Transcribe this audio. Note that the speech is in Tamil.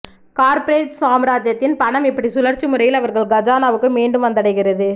கார்ப்பரேட் சாம்ராஜ்யத்தின் பணம் இப்படி சுழற்சி முறையில் அவர்கள் கஜானாவுக்கு மீண்டும் வந்தடைகிறது